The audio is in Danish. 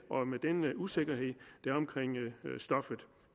med den usikkerhed der er omkring stoffet